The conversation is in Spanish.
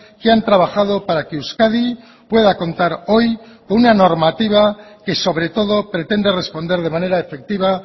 que han trabajado para que euskadi pueda contar hoy con una normativa que sobre todo pretende responder de manera efectiva